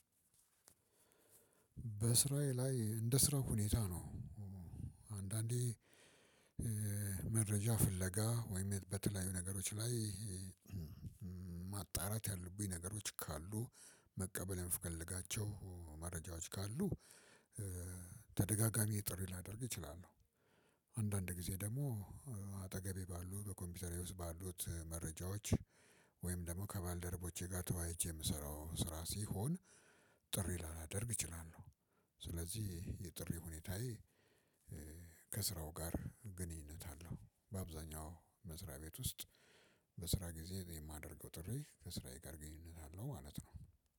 በስራዬ ላይ እንደ ስራው ሁኔታ ነው። አንዳንዴ መረጃ ፍለጋ ወይም በተለያዩ ነገሮች ላይ ማጣራት ያሉብኝ ነገሮች ካሉ መቀበል የምፈልጋቸው መረጃዎች ካሉ ተደጋጋሚ ጥሪ ላደርግ እችላለሁ። አንዳንድ ጊዜ ደግሞ አጠገቤ ባሉ በኮምፒውተሬ ውስጥ ባሉት መረጃዎች ወይም ደግሞ ከባልደረቦቼ ጋር ተዋይቼ የምሰራው ስራ ሲሆን። ጥሪ ላላደርግ እችላለሁ። ስለዚህ የጥሪ ሁኔታዬ ከስራው ጋር ግንኙነት አለው በአብዛኛው መስሪያ ቤት ውስጥ። በስራ ጊዜ የማደርገው ጥሪ ከስራዬ ጋር ግንኙነት አለው ማለት ነው።